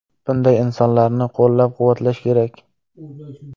Bunday insonlarni qo‘llab-quvvatlash kerak.